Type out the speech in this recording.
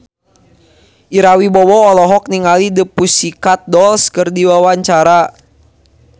Ira Wibowo olohok ningali The Pussycat Dolls keur diwawancara